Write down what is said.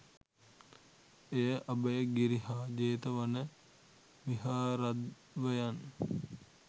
එය අභයගිරි හා ජේතවන විහාරද්වයන්